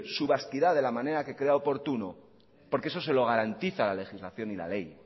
su vasquidad de la manera que crea oportuno porque eso se lo garantiza la legislación y la ley